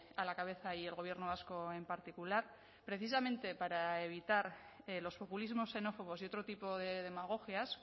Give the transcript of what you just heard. a la cabeza y el gobierno vasco en particular precisamente para evitar los populismos xenófobos y otro tipo de demagogias